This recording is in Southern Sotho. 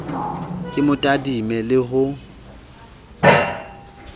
ke mo tadime le ho